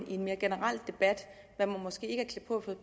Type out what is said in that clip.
i en mere generel debat er man måske ikke klædt på